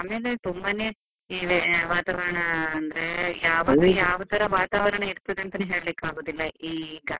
ಆಮೇಲೆ ತುಂಬಾನೇ ಈ ವೇ~ ವಾತಾವರಣಾ ಯಾವಾಗ ಯಾವ ತರ ವಾತಾವರಣ ಇರ್ತದೆ ಅಂತನೆ ಹೇಳ್ಲಿಕಾಗುದಿಲ್ಲ ಈಗ.